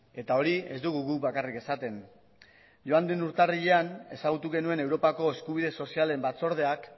eta hori ez dugu guk bakarrik esaten joan den urtarrilean ezagutu genuen europako eskubide sozialen batzordeak